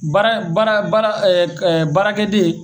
Baara baara baara baarakɛden